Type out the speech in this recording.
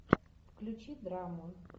включи драму